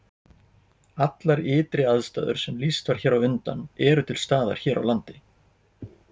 Allar ytri aðstæður sem lýst var hér á undan eru til staðar hér á landi.